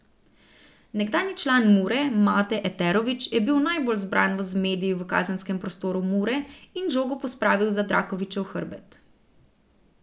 Nekdanji član Mure Mate Eterović je bil najbolj zbran v zmedi v kazenskem prostoru Mure in žogo pospravil za Drakovićev hrbet.